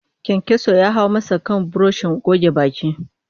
Kayankyaso ya hau masa kan burushin goge baki